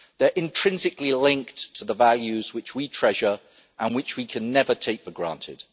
They're intrinsically linked to the values which we treasure and which we can never take for granted.